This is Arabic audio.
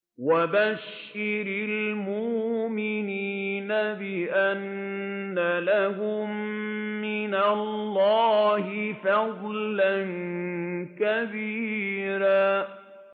وَبَشِّرِ الْمُؤْمِنِينَ بِأَنَّ لَهُم مِّنَ اللَّهِ فَضْلًا كَبِيرًا